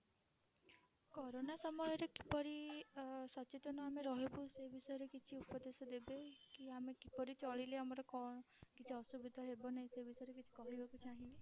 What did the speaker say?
Corona ସମୟରେ କିପରି ଅ ସଚେତନ ଆମେ ରହିବୁ ସେ ବିଷୟରେ କିଛି ଉପଦେଶ ଦେବେ କି ଆମେ କିପରି ଚଳିଲେ ଆମର କଣ କିଛି ଅସୁବିଧା ହେବ ନାହିଁ ସେ ବିଷୟରେ କିଛି କହିବାକୁ ଚାହିଁବେ?